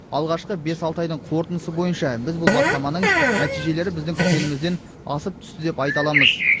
алғашқы бес алты айдың қорытындысы бойынша біз бұл бастаманың нәтижелері біздің күткенімізден асып түсті деп айта аламыз